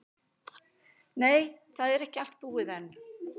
Nei, það er ekki allt búið enn.